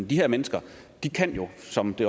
de her mennesker som det